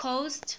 coast